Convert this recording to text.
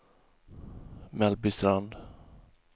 Mellbystrand